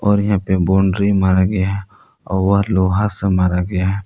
और यहां पर बाउंड्री मारा गया और लोहा से मारा गया है।